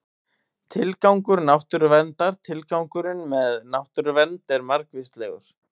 Tilgangur náttúruverndar Tilgangurinn með náttúruvernd er margvíslegur.